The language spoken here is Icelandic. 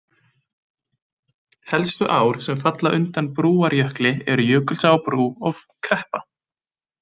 Helstu ár sem falla undan Brúarjökli eru Jökulsá á Brú og Kreppa.